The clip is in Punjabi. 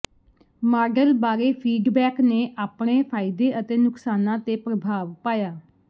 ਮਾਡਲ ਬਾਰੇ ਫੀਡਬੈਕ ਨੇ ਆਪਣੇ ਫਾਇਦੇ ਅਤੇ ਨੁਕਸਾਨਾਂ ਤੇ ਪ੍ਰਭਾਵ ਪਾਇਆ